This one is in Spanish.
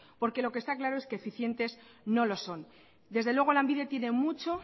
porque lo que está claro es que eficientes no lo son desde luego lanbide tiene mucho